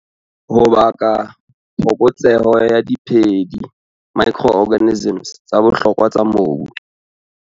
Ho baka phokotseho ya diphedi, micro-organisms, tsa bohlokwa tsa mobu.